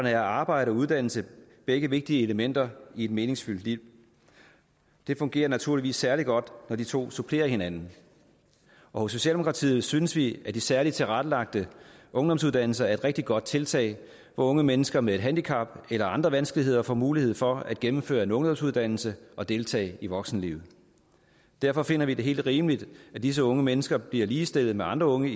er arbejde og uddannelse begge vigtige elementer i et meningsfyldt liv det fungerer naturligvis særlig godt når de to supplerer hinanden hos socialdemokratiet synes vi at de særligt tilrettelagte ungdomsuddannelser er et rigtig godt tiltag hvor unge mennesker med et handicap eller andre vanskeligheder får mulighed for at gennemføre en ungdomsuddannelse og deltage i voksenlivet derfor finder vi det helt rimeligt at disse unge mennesker bliver ligestillet med andre unge